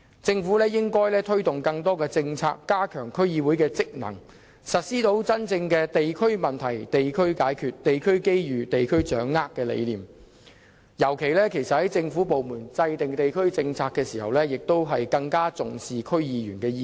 政府應推動更多政策，加強區議會職能，實施真正的"地區問題，地區解決；地區機遇，地區掌握"的理念，尤其在政府部門制訂地區政策時，更應重視區議員的意見。